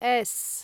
S